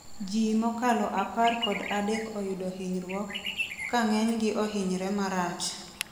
jii mokalo apar kod adek oyudo hinyruok, ka ng'enygi ohinyre marach